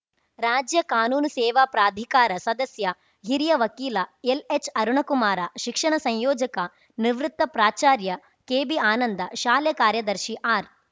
ರಾಜ್ಯ ಕಾನೂನು ಸೇವಾ ಪ್ರಾಧಿಕಾರ ಸದಸ್ಯ ಹಿರಿಯ ವಕೀಲ ಎಲ್‌ಎಚ್‌ ಅರುಣಕುಮಾರ ಶಿಕ್ಷಣ ಸಂಯೋಜಕ ನಿವೃತ್ತ ಪ್ರಾಚಾರ್ಯ ಕೆಬಿ ಆನಂದ ಶಾಲೆ ಕಾರ್ಯದರ್ಶಿ ಆರ್‌